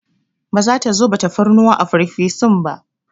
Ba za ta zuba tafarnuwa a farfesun ba.